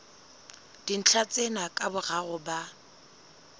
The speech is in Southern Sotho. dintlha tsena ka boraro ba